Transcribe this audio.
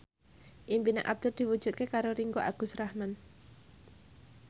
impine Abdul diwujudke karo Ringgo Agus Rahman